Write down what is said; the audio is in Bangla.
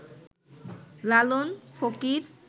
লালন ফকির